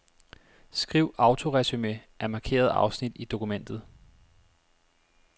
Skriv autoresumé af markerede afsnit i dokumentet.